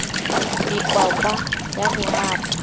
be kwakwa ya ho hapa